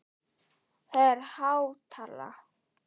Það er há tala?